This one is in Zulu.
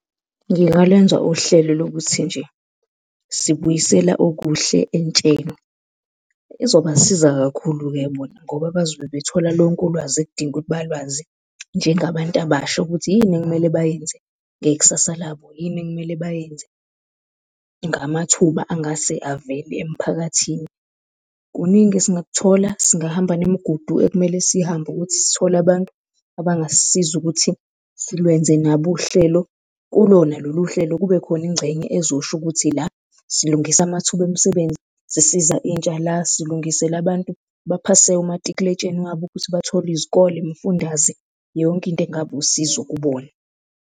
Ngingalwenza uhlelo lokuthi nje sibuyisela okuhle entsheni, ezobasiza kakhulu-ke bona ngoba bazobe bethola lonke ulwazi ekudinga ukuthi balwazi njengabantu abasha ukuthi yini ekumele bayenze ngekusasa labo, yini ekumele bayenze ngamathuba angase avele emphakathini. Kuningi esingakuthola, singahamba nemigudu ekumele siyihambe ukuthi sithole abantu abangasisiza ukuthi silwenze nabo uhlelo. Kulona lolu hlelo kube khona ingcenye ezosho ukuthi la silungisa amathuba emsebenzi sisiza intsha, la silungisela abantu abaphase umatikuletsheni wabo ukuthi bathole izikole, imifundaze, yonke into engaba usizo kubona.